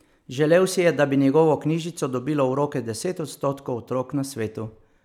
Želel si je, da bi njegovo knjižico dobilo v roke deset odstotkov otrok na svetu.